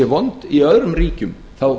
vond í öðrum ríkjum þá